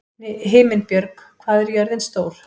Himinbjörg, hvað er jörðin stór?